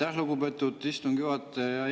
Aitäh, lugupeetud istungi juhataja!